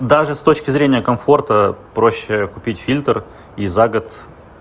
даже с точки зрения комфорта проще купить фильтр и за год